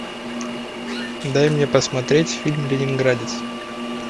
дай мне посмотреть фильм ленинградец